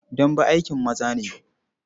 Dambe aikin maza ne.